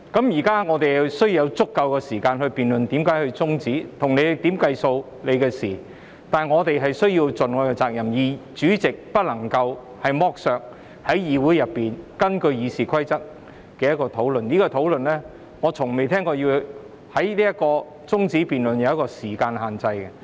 現在我們需要有足夠的時間來辯論為何要中止辯論，如何計算時限是你的事，但我們必須盡我們的責任，主席不能剝削議會內議員根據《議事規則》提出的討論，而我也從未聽過中止待續議案的辯論是有時間限制的。